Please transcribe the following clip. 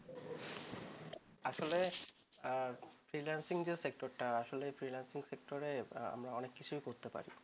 আসলে freelancing যে sector টা আসলে freelancing sector এ আপনি অনেক কিছুই করতে পারেন